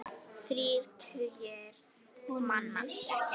Þrír tugir manna.